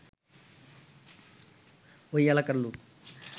ওই এলাকার লোক